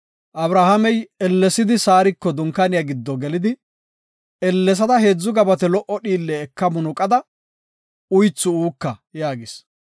Abrahaamey ellesidi Saariko dunkaaniya giddo gelidi, “Ellesada heedzu gabate lo77o dhiille eka munuqada uythu uuka” yaagis.